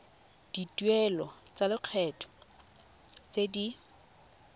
dituelo tsa lekgetho tse di